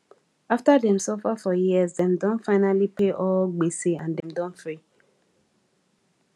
after dem suffer for years dem don finally pay all gbese and dem don free